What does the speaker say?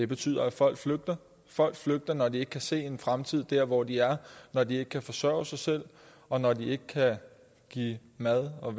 betyder at folk flygter folk flygter når de ikke kan se en fremtid dér hvor de er når de ikke kan forsørge sig selv og når de ikke kan give mad og